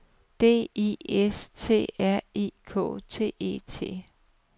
D I S T R I K T E T